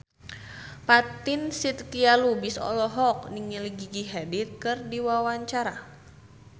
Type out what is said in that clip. Fatin Shidqia Lubis olohok ningali Gigi Hadid keur diwawancara